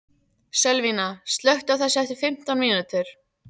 Sölvína, slökktu á þessu eftir fimmtán mínútur.